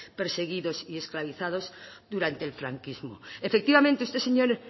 perseguidos y esclavizados durante el franquismo efectivamente este señor